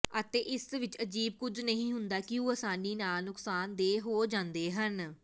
ਅਤੇ ਇਸ ਵਿੱਚ ਅਜੀਬ ਕੁੱਝ ਨਹੀਂ ਹੁੰਦਾ ਕਿ ਉਹ ਆਸਾਨੀ ਨਾਲ ਨੁਕਸਾਨਦੇਹ ਹੋ ਜਾਂਦੇ ਹਨ